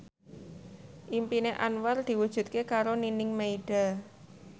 impine Anwar diwujudke karo Nining Meida